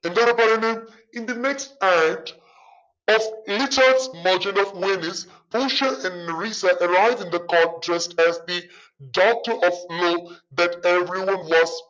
എന്താടാ പറയുന്ന് in the next